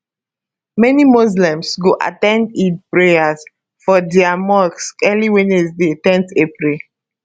many muslims go at ten d eid prayers for dia mosque early wednesday ten april